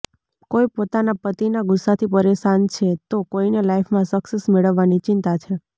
કોઈ પોતાના પતિના ગુસ્સાથી પરેશાન છે તો કોઈને લાઈફમાં સક્સેસ મેળવવાની ચિંતા છે